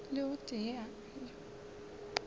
le o tee yo a